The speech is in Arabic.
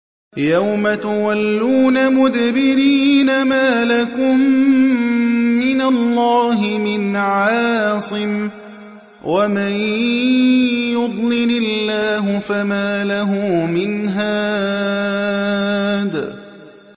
يَوْمَ تُوَلُّونَ مُدْبِرِينَ مَا لَكُم مِّنَ اللَّهِ مِنْ عَاصِمٍ ۗ وَمَن يُضْلِلِ اللَّهُ فَمَا لَهُ مِنْ هَادٍ